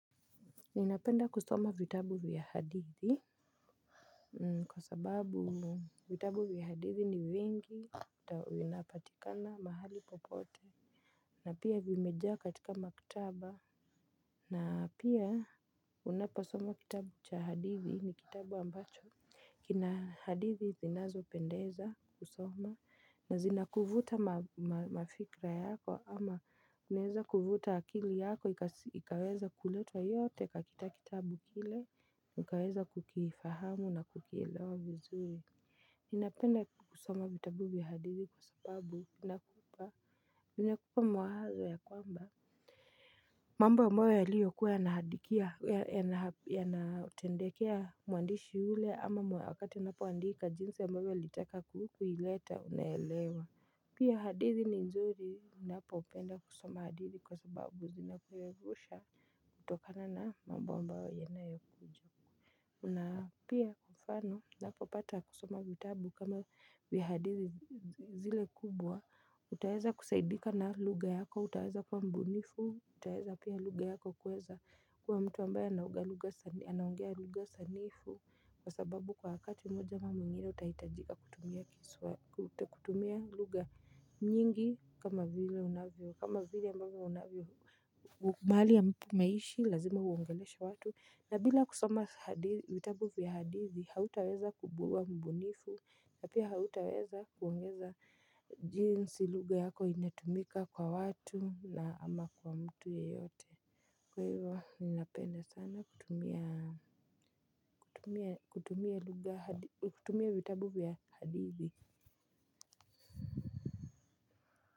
Ninapenda kusoma vitabu vya hadithi. Kwa sababu vitabu viya hadithi ni vingi na vinapatikana mahali popote. Na pia vimejaa katika maktaba. Na pia unaposoma kitabu cha hadithi ni kitabu ambacho kina hadithi zinazo pendeza kusoma na zinakuvuta mafikra yako ama unaeza kuvuta akili yako ikaweza kuletwa yote katika kitabu kile ukaweza kukifahamu na kukielewa vizuri ninapenda kusoma vitabu vya hadithi kwa sababu linakupa mawazo ya kwamba mambo ambayo yaliyokuwa yanahadikia yanatendekea muandishi ule ama wakati unapoandika jinsi ambavyo ulitaka kuileta unaelewa. Pia hadithi ni nzuri ninapo upenda kusoma hadithi kwa sababu zina kuevusha kutokana na mambo ambao ya nayo kuja na pia kwa mfano unapopata kusoma vitabu vya hadithi zile kubwa utaeza kusaidika na lugha yako utaweza kwa mbunifu utaeza pia lugha yako kuweza kwa mtu ambaye anaongea lugha sanifu kwa sababu kwa wakati mmoja ama mwingine utahitajika kutumia luga nyingi kama zile mbunifu kama zile mbunifu mali ya maishi lazima uangelesha watu na bila kusoma vitabu ya hadithi hautaweza kububwa mbunifu na pia hautaweza kuongeza jinsi luga yako imetumika kwa watu na ama kwa mtu yeyote. Kwa hivyo minapenda sana kutumia kutumia vitabu vya hadithi.